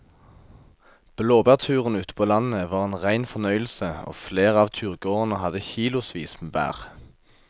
Blåbærturen ute på landet var en rein fornøyelse og flere av turgåerene hadde kilosvis med bær.